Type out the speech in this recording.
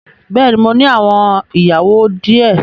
Bẹ́ẹ̀ni mo ní àwọn ìyàwó di ẹ